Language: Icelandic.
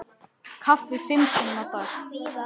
Kaffi fimm sinnum á dag.